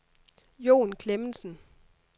Jon Klemmensen